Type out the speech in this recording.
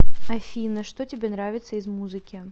афина что тебе нравится из музыки